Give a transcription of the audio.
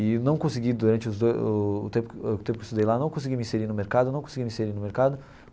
E não consegui, durante os dois o o tempo o tempo que eu estudei lá, não consegui me inserir no mercado, não consegui me inserir no mercado.